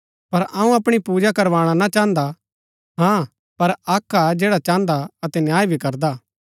पर अऊँ अपणी पूजा करवाणा ना चाहन्दा हाँ पर अक्क हा जैडा चाहन्दा अतै न्याय भी करदा